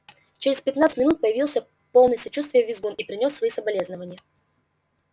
через пятнадцать минут появился полный сочувствия визгун и принёс свои соболезнования